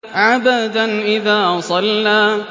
عَبْدًا إِذَا صَلَّىٰ